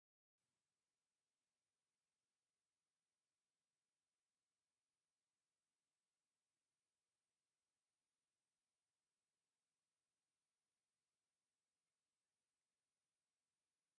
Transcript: ናይ ኢትዮጰያ ነባር ኘሬዚዳንት ብሓዱሽ ኘሬዚዳንት ስልጣን እንትተኻኽኡ ዘርኢ እዩ፡፡ እተን ዝነበራ ወ/ሮ ሳህለወርቅ ዘውዴ ይባሃላ ነይረን፡፡ እቶም ሓዱሽ ኘሬዜዳንት መን ይባሃሉ?